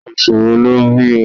Oṣù wo lọ bí o?